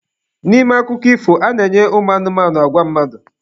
N'ime akụkọ ifo, a na-enye anụmanụ agwa mmadụ.